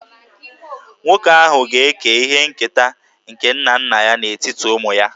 Nwoke ahụ ga-eke ihe nketa nke nna nna ya n'etiti ụmụ ya